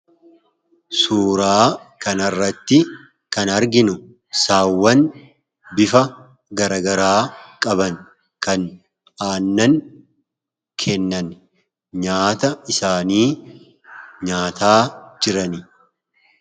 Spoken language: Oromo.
Suuraa kanarratti kan arginu saawwan bifa garagaraa qaban kan aannan kennan nyaata isaanii nyaataa jiran.